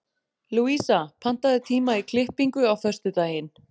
Louisa, pantaðu tíma í klippingu á föstudaginn.